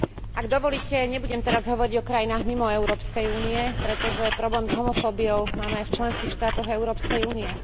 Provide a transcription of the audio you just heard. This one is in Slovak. Ak dovolíte, nebudem teraz hovoriť o krajinách mimo Európskej únie, pretože problém s homofóbiou máme aj v členských štátoch Európskej únie.